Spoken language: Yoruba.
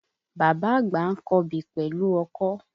Bàbá àgba ń kọbè pẹ̀lú ọkọ̀